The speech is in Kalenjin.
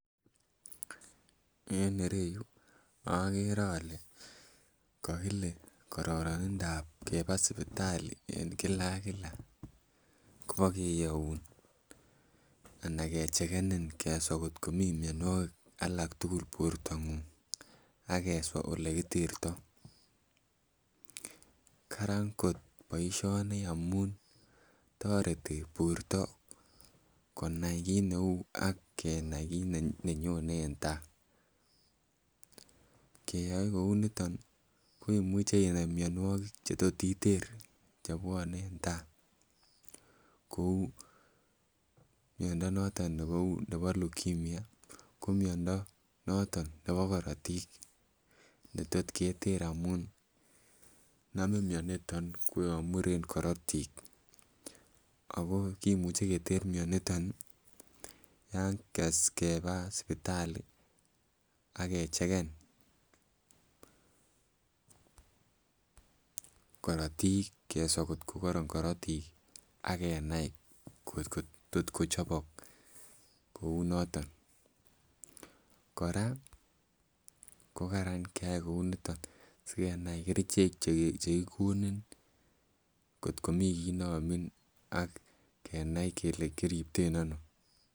Eng ireyu agere ale, kakile, kararanindob keba sipitali eng Kila ak Kila ,kobakeyoun anan kechekenin keswa ko komi mnyanwakik alak tukul bortangung ,akeswa elekiterto, Karan kot boisyoni ngamun toreti borto konai kit neu ak kenai kit nenyone eng tai ,keyoe kouniton koimuche inai mnyanwakik chotot iterchebwane eng tai kou mnyondo noton nebo lukimnya ko mnyondo noton nebo karotik netot keter amun namin mnyaniton ko yan muren korotik ako koimuche tester mnyaniton ya keba sibitali skecheken korotik keswa kot kokararan korotik ak kenai kot kotot kochobok ,koraa ko Karan kyai kouni sikenai kerichek chekikonon kot komi kit neamin ak kenai Keke kiribten ano.